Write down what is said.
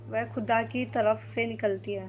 वह खुदा की तरफ से निकलती है